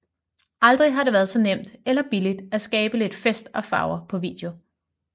Aldrig har det været så nemt eller billigt at skabe lidt fest og farver på video